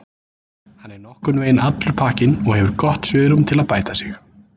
Hann er nokkurnveginn allur pakkinn og hefur gott svigrúm til að bæta sig.